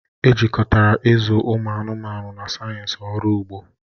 Ejikọtara ịzụ ụmụ anụmanụ na sayensị ọrụ ugbo